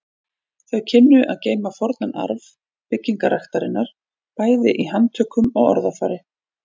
Þau kynnu að geyma fornan arf byggræktarinnar bæði í handtökum og orðafari.